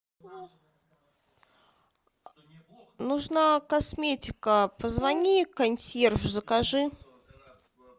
нужна косметика позвони консьержу закажи